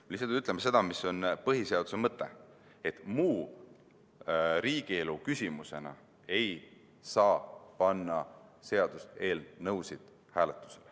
Me lihtsalt ütleme seda, mis on põhiseaduse mõte: seaduseelnõusid ei saa panna hääletusele muu riigielu küsimusena.